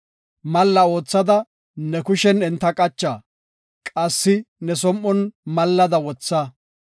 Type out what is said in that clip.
Malla oothada ne kushen enta qacha; qassi ne som7on mallada wotha.